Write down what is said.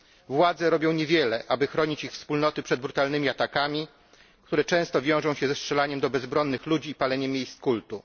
Władze robią niewiele, aby chronić ich wspólnoty przed brutalnymi atakami, które często wiążą się ze strzelaniem do bezbronnych ludzi i paleniem miejsc kultu.